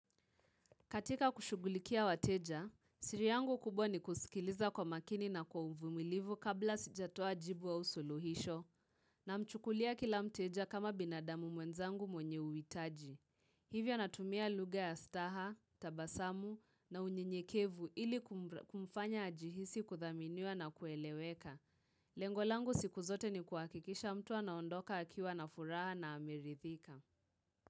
Katika kushugulikia wateja, siri yangu kubwa ni kusikiliza kwa makini na kwa uvumilivu kabla sijatoa jibu au suluhisho. Na mchukulia kila mteja kama binadamu mwenzangu mwenye uhitaji. Hivyo natumia lugha ya staha, tabasamu na unye nyekevu ili kumfanya ajihisi kuthaminiwa na kueleweka. Lengolangu siku zote ni kuakikisha mtu ana ondoka akiwa na furaha na amerithika.